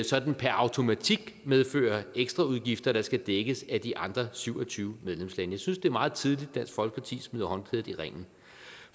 sådan per automatik medfører ekstraudgifter der skal dækkes af de andre syv og tyve medlemslande jeg synes det er meget tidligt dansk folkeparti smider håndklædet i ringen